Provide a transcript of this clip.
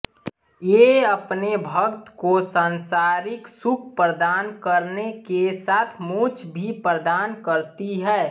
ये अपने भक्त को सांसारिक सुख प्रदान करने के साथ मोक्ष भी प्रदान करती हैं